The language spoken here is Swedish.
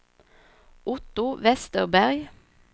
Otto Vesterberg